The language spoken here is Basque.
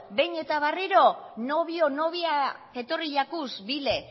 behin eta berriro nobio nobia etorri jakuz bila